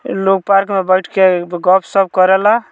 लोग पार्क में बैठ के गप-सप करला।